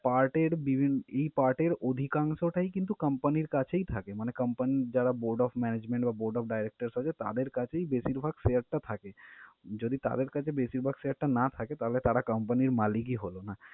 Part এর বিভি~ এই part এর অধিকাংশটাই কিন্তু company র কাছেই থাকে মানে company র যারা board of management বা board of directors আছে তাদের কাছেই বেশিরভাগ share টা থাকে। যদি তাদের কাছে বেশিরভাগ share টা না থাকে তাহলে তারা company র মালিক ই হলো না।